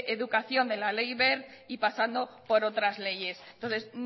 educación de la ley wert y pasando por otras leyes entonces